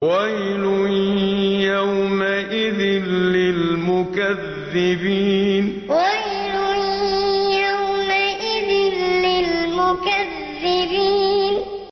وَيْلٌ يَوْمَئِذٍ لِّلْمُكَذِّبِينَ وَيْلٌ يَوْمَئِذٍ لِّلْمُكَذِّبِينَ